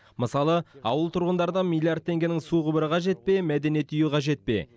мысалы ауыл тұрғындарына миллиард теңгенің су құбыры қажет пе мәдениет үйі қажет пе